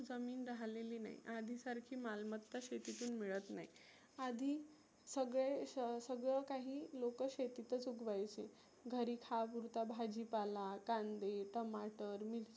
जमीन राहलेली नाही. आधी सारखी मालमत्ता शेतीतुन मिळत नाही. आधी सगळे सगळ काही लोक शेतीच उगवायचे. घरी खाया पुरता भाजी पाला, कांदे, टमाट, मिरची